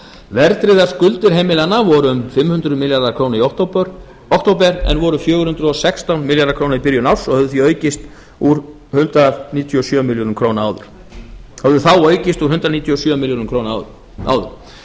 verðtryggðar skuldir heimilanna voru um fimm hundruð milljarðar króna í október en voru fjögur hundruð og sextán milljarðar króna í byrjun árs og höfðu því aukist úr hundrað níutíu og sjö milljörðum króna árið áður